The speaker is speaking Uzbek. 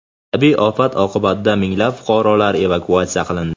Tabiiy ofat oqibatida minglab fuqarolar evakuatsiya qilindi.